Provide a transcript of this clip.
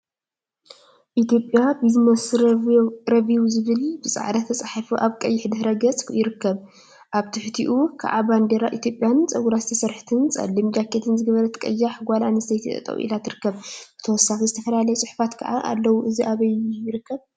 ኢትዮጵያ ቢዝነስ ረቪው ዝብል ብፃዕዳ ተፃሒፉ አብ ቀይሕ ድሕረ ገፅ ይርከብ፡፡ አብ ትሕቲኡ ከዓ ባንዴራ ኢትዮጵያን ፀጉራ ዝተሰርሐትን ፀሊም ጃኬት ዝገበረትን ቀያሕ ጓል አንስተይቲ ጠጠው ኢላ ትርከብ፡፡ ብተወሳኪ ዝተፈላለየ ፁሑፋት ከዓ አለው፡፡ እዚ አበይ ይርከብ፡፡